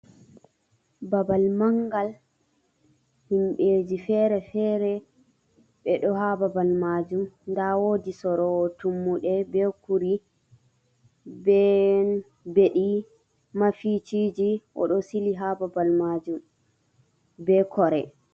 Babal manngal himɓeji feere feere ɓe ɗo haa babal maajum, nda woodi soroowo tummude be puri, be beɗi, mafiiciiji, o ɗo sili haa babal maajum be kore.